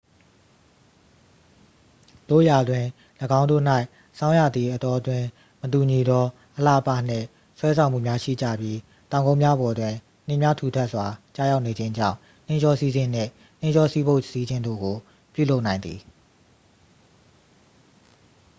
သို့ရာတွင် ၎င်းတို့၌ ဆောင်းရာသီအတောအတွင်း မတူညီသော အလှအပနှင့် ဆွဲဆောင်မှုများရှိကြပြီး တောင်ကုန်းများပေါ်တွင် နှင်းများထူထပ်စွာကျရောက်ခြင်းကြောင့် နှင်းလျောစီးခြင်းနှင့် နှင်းလျောစီးဘုတ်စီးခြင်းတို့ကို ပြုလုပ်နိုင်သည်